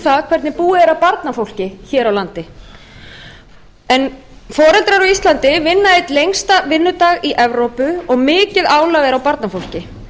það hvernig búið er að barnafólki hér á landi foreldrar á íslandi vinna einn lengsta vinnudag í evrópu og mikið álag er á barnafólki